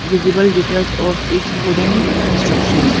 Visible details of its wooden construction.